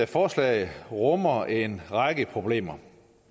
forslaget rummer en række problemer